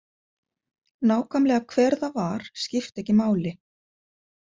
Nákvæmlega hver það var skipti ekki máli.